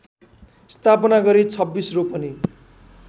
स्थापना गरी २६ रोपनि